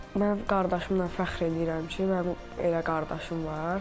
Mən qardaşımla fəxr eləyirəm ki, mənim elə qardaşım var.